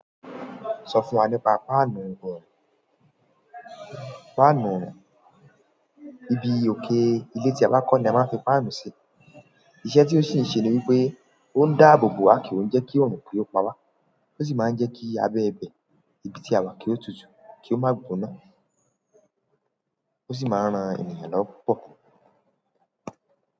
Sọ fún wa nípa páànù orún. Páànù orún, ibi òkè ilé tí a bá kọ́ ni a máa ń fi páànù sí i. Iṣẹ́ tí ó sì ń ṣe ni wípé ó ń dáàbò bo a ki n jẹ́ kí òòrùn ki ó pa wá. Ó sì máa ń jẹ́ kí abẹ ibẹ ibi tí a wà kí ó tutù kí ó má gboná. Ó sì máa ń ran ènìyàn lọ́wọ́ púpọ̀.